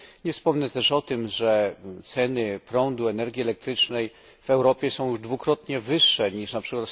Nie wspomnę też o tym, że ceny prądu, energii elektrycznej w Europie są już dwukrotnie wyższe niż np.